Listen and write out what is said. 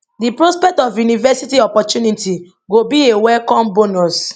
di prospect of university opportunities go be a welcome bonus